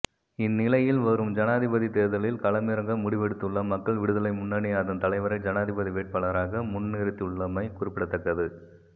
இந்நிலையில் வரும் ஜனாதிபதித் தேர்தலில் களமிறங்க முடிவெடுத்துள்ள மக்கள் விடுதலை முன்னணி அதன் தலைவரை ஜனாதிபதி வேட்பாளராக முன்னிறுத்தியுள்ளமை குறிப்பிடத்தக்கது